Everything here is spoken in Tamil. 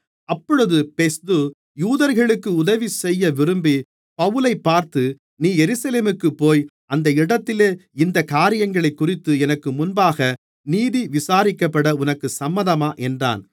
அப்பொழுது பெஸ்து யூதர்களுக்கு உதவிசெய்ய விரும்பி பவுலைப் பார்த்து நீ எருசலேமுக்குப்போய் அந்த இடத்திலே இந்தக் காரியங்களைக்குறித்து எனக்கு முன்பாக நீதி விசாரிக்கப்பட உனக்குச் சம்மதமா என்றான்